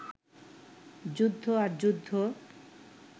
যুদ্ধ আর যুদ্ধ